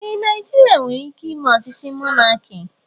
Ee, Naijiria nwere ike ime ochíchí mọnaki